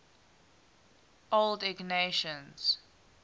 old ignatians